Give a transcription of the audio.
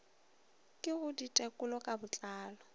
ke go ditekolo ka botlalo